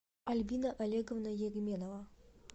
альбина олеговна егменова